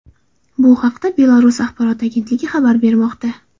Bu haqda Belarus axborot agentligi xabar bermoqda .